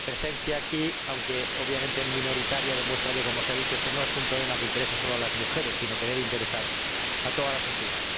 Mi presencia aquí, aunque obviamente minoritaria, demuestra que, como se ha dicho, este no es un problema que interese solamente a las mujeres, sino que debe interesar a toda la sociedad.